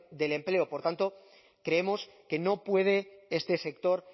del empleo por tanto creemos que no puede este sector